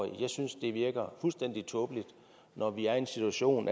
jeg synes det virker fuldstændig tåbeligt når vi er i en situation